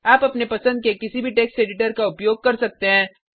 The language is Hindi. आप अपने पसंद के टेक्स्ट एडिटर का उपयोग कर सकते हैं